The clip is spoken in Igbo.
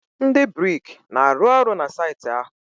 ndị brik na-arụ ọrụ na saịtị ahụ?